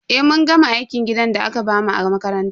Eh, mun gama aikin gidan da aka bamu a makaranta.